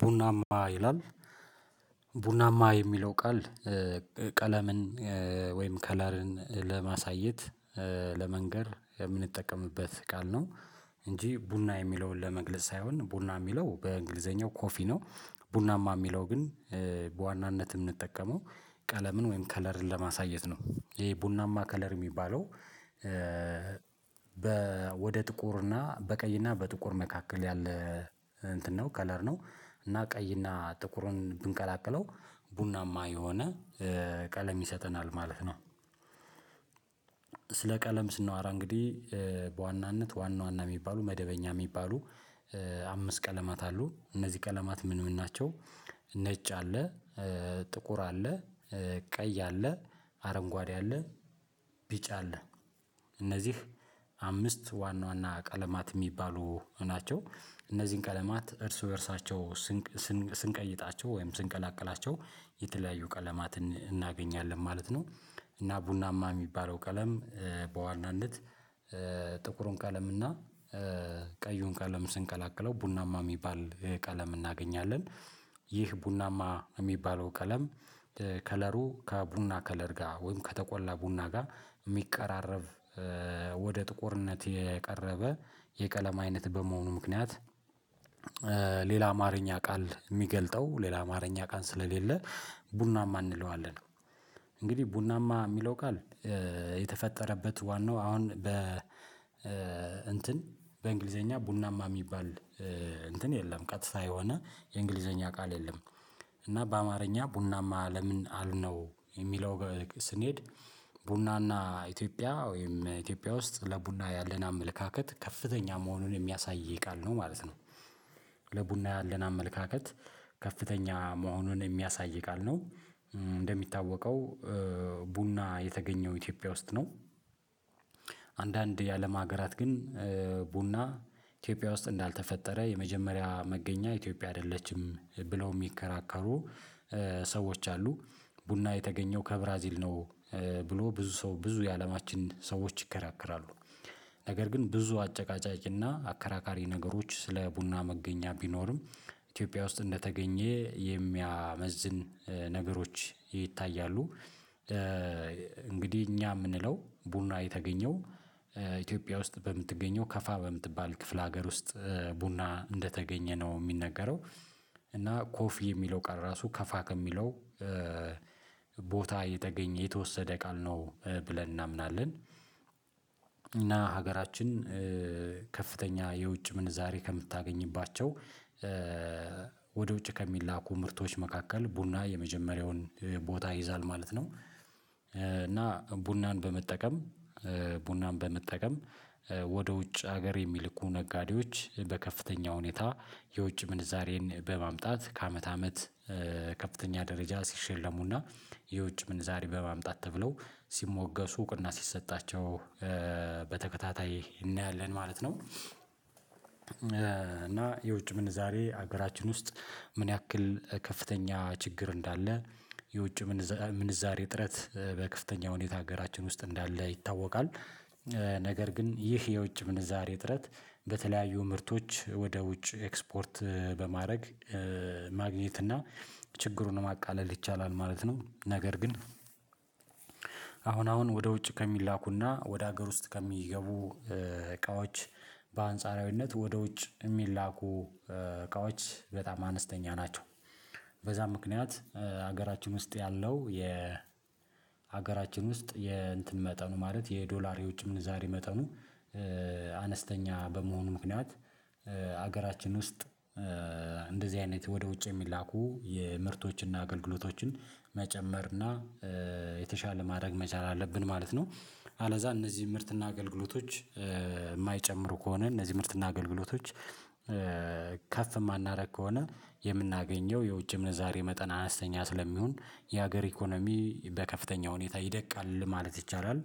ቡናማ ይላል ቡናማ የሚለው ቃል ቀለምን ወይም ከለርን ለማሳየት ለመንገር የምንጠቀምበት ቃል ነው እንጂ ቡና የሚለውን ለመግለጽ ሳይሆን ቡና የሚለው በእንግሊዘኛው ኮፊ ነው። ቡናማ የሚለው ግን በዋናነት የምንጠቀመው ቀለምን ወይም ከለርን ለማሳየት ነው ይሄ ቡናማ ከለር የሚባለው። ወደ ጥቁር እና በቀይ እና በጥቁር መካከል ያለ እንትን ነው ከለር ነው እና ቀይ እና ጥቁሩን ብንቀላቅለው ቡናማ የሆነ ቀለም ይሰጠናል ማለት ነው። ስለ ቀለም ስናወራ እንግዲህ በዋናነት ዋና ዋና የሚባሉ መደበኛ የሚባሉ አምስት ቀለማት አሉ እነዚህ ቀለማት ምን ይሆናቸው? ነጭ አለ ጥቁር አለ ቀይ አለ አረንጓዴ አለ ቢጭ አለ። እነዚህ አምስት ዋና ዋና ቀለማት የሚባሉ ናቸው። እነዚህን ቀለማት እርሱ በእርሳቸው ስንቀይጣቸው ወይም ስንቀላቅላቸው የተለያዩ ቀለማትን እናገኛለን ማለት ነው። እና ቡናማ የሚባለው ቀለም በዋናነት ጥቁሩን ቀለምና ቀዩን ቀለም ስንቀላቅለው ቡናማ የሚባል ቀለም እናገኛለን። ይህ ቡናማ የሚባለው ቀለም ከለሩ ከቡና ከለር ጋር ወይም ከተቆላ ቡና ጋር የሚቀራረብ ወደ ጥቁርነት የቀረበ የቀለም አይነት በመሆኑ ምክንያት ሌላ አማርኛ ቃል የሚገልጠው ሌላ አማርኛ ቃል ስለሌለ ቡናማ እንለዋለን። እንግዲህ ቡናማ የሚለው ቃል የተፈጠረበት ዋናው አሁን በ እንትን በእንግሊዘኛ ቡናማ የሚባል እንትን የለም ቀጥታ የሆነ የእንግሊዘኛ ቃል የለም። እና በአማርኛ ቡናማ ለምን አልነው የሚለው ስንሄድ ቡናና ኢትዮጵያ ወይም ኢትዮጵያ ውስጥ ለቡና ያለን አመለካከት ከፍተኛ መሆኑን የሚያሳይ የቃል ነው ማለት ነው። ለቡና ያለን አመለካከት ከፍተኛ መሆኑን የሚያሳይ ቃል ነው። እንደሚታወቀው ቡና የተገኘው ኢትዮጵያ ውስጥ ነው። አንዳንድ የአለም ሀገራት ግን ቡና ኢትዮጵያ ውስጥ እንዳልተፈጠረ የመጀመሪያ መገኛ ኢትዮጵያ አይደለችም ብለው የሚከራከሩ ሰዎች አሉ። ቡና የተገኘው ከብራዚል ነው ብሎ ብዙ ሰው ብዙ የአለማችን ሰዎች ይከራከራሉ። ነገር ግን ብዙ አጨቃጫጭና አከራካሪ ነገሮች ስለ ቡና መገኛ ቢኖርም ኢትዮጵያ ውስጥ እንደተገኘ የሚያመዝን ነገሮች ይታያሉ። እንግዲህ እኛ የምንለው ቡና የተገኘው ኢትዮጵያ ውስጥ በምትገኘው ከፋ በምትባል ክፍለ ሀገር ውስጥ ቡና እንደተገኘ ነው የሚነገረው። እና ኮፍ የሚለው ቀር ራሱ ከፋ ከሚለው ቦታ እየተገኘ የተወሰደ ቃል ነው ብለን እናምናለን። እና ሀገራችን ከፍተኛ የውጭ ምን ዛሬ ከምታገኝባቸው ወደ ውጭ ከሚላኩ ምርቶች መካከል ቡና የመጀመሪያውን ቦታ ይይዛል ማለት ነው። እና ቡናን በመጠቀም ቡናን በመጠቀም ወደ ውጭ ሀገር የሚልኩ ነጋዴዎች በከፍተኛ ሁኔታ የውጭ ምንዛሬን በማምጣት ከአመት አመት ከፍተኛ ደረጃ ሲሸለሙና የውጭ ምን ዛሬ በማምጣት ተብለው ሲሞገሱ እውቅና ሲሰጣቸው በተከታታይ እናያለን ማለት ነው። እና የውጭ ምን ዛሬ ሀገራችን ውስጥ ምን ያክል ከፍተኛ ችግር እንዳለ የውጭ ምንዛሬ እጥረት በከፍተኛ ሁኔታ ሀገራችን ውስጥ እንዳለ ይታወቃል። ነገር ግን ይህ የውጭ ምንዛሬ እጥረት በተለያዩ ምርቶች ወደ ውጭ ኤክስፖርት በማድረግ ማግኘት እና ችግሩን ማቃለል ይቻላል ማለት ነው። ነገር ግን አሁን አሁን ወደ ውጭ ከሚላኩና ወደ ሀገር ውስጥ ከሚገቡ እቃዎች በአንጻራዊነት ወደ ውጭ የሚላኩ እቃዎች በጣም አነስተኛ ናቸው። በዛ ምክንያት ሀገራችን ውስጥ ያለው የ ሀገራችን ውስጥ የእንትን መጠኑ ማለት የዶላር የውጭ ምንዛሬ መጠኑ አነስተኛ በመሆኑ ምክንያት ሀገራችን ውስጥ እንደዚህ አይነት ወደ ውጭ የሚላኩ የምርቶችና አገልግሎቶችን መጨመርና የተሻለ ማድረግ መቻል አለብን ማለት ነው። አለዛ እነዚህ ምርትና አገልግሎቶች የማይጨምሩ ከሆነ እነዚህ ምርትና አገልግሎቶች ከፍ የማናደርግ ከሆነ የምናገኘው የውጭ ምንዛሬ መጠን አነስተኛ ስለሚሆን የሀገር ኢኮኖሚ በከፍተኛ ሁኔታ ይደቃል ማለት ይቻላል።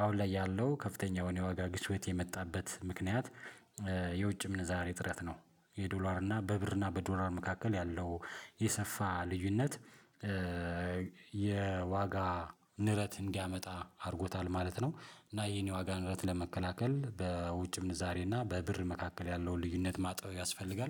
አሁን ላይ ያለው ከፍተኛ የሆነ የዋጋ ግሽበት የመጣበት ምክንያት የውጭ ምን ዛሬ እጥረት ነው። የዶላር እና በብር እና በዶላር መካከል ያለው የሰፋ ልዩነት የዋጋ ንረት እንዲያመጣ አድርጎታል ማለት ነው። እና የኔ ዋጋ ንረት ለመከላከል በውጭ ዛሬ እና በብር መካከል ያለውን ልዩነት ማጥበብ ያስፈልጋል